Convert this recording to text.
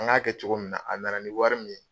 An ŋ'a kɛ cogo min na, a nana ni wɔri min ye